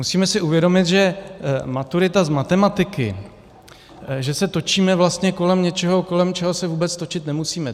Musíme si uvědomit, že maturita z matematiky, že se točíme vlastně kolem něčeho, kolem čeho se vůbec točit nemusíme.